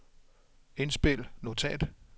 indspil notat